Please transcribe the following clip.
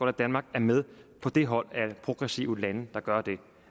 at danmark er med på det hold af progressive lande der gør det